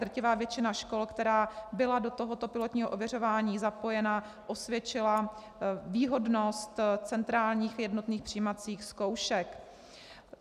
Drtivá většina škol, která byla do tohoto pilotního ověřování zapojena, osvědčila výhodnost centrálních jednotných přijímacích zkoušek.